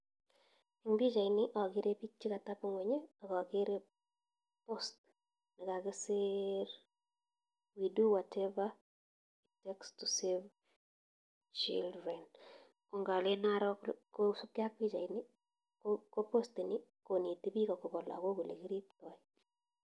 Eng pichait nii akeree bik che katebongony akakeree post nee kakisir we do whatever to save children ngalen aroo kosup kee ab pichait nii ko post inii konetii bich akopa lagok ole kiriptaii